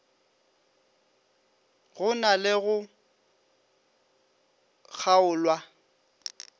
go na le go kgaolwa